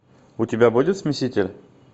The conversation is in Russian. у тебя будет смеситель